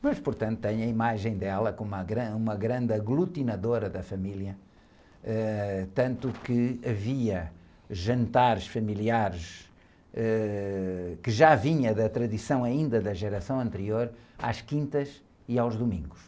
Mas, portanto, tem a imagem dela como uma gran, uma grande aglutinadora da família, ãh, tanto que havia jantares familiares, ãh, que já vinha da tradição ainda da geração anterior, às quintas e aos domingos.